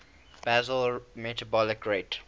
basal metabolic rate